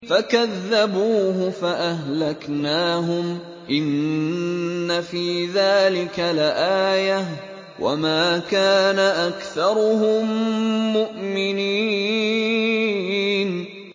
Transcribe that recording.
فَكَذَّبُوهُ فَأَهْلَكْنَاهُمْ ۗ إِنَّ فِي ذَٰلِكَ لَآيَةً ۖ وَمَا كَانَ أَكْثَرُهُم مُّؤْمِنِينَ